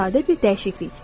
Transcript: Sadə bir dəyişiklik.